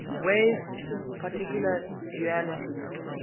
wave particle duality